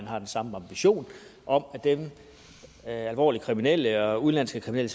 har den samme ambition om at alvorligt kriminelle og udenlandske kriminelle